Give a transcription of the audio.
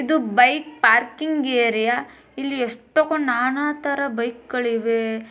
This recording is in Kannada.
ಇದು ಬೈಕ್ ಪಾರ್ಕಿಂಗ್ ಏರಿಯ. ಇಲ್ಲಿ ಎಷ್ಟೊಂದು ನಾನಾ ತರ ಬೈಕಗಳಿವೆ .